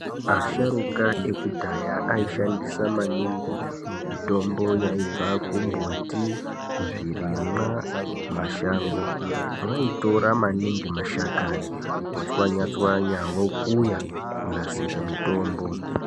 Asharukwa ekudhaya aishandisa maningi mitombo yaibva kumbuti ,zvirimwa mashango vaitora maningi mashakani votswanya-tswanya vokuya kunasira mitombo.